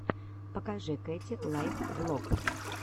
покажи кэти лайф влог